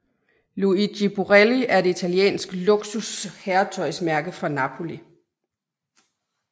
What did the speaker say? Luigi Borrelli er et italiensk luksus herretøjsmærke fra Napoli